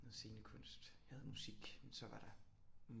Noget scenekunst jeg havde musik og så var der